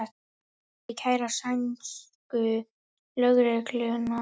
Fleiri kæra sænsku lögregluna